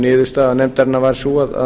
niðurstaða nefndarinnar var sú að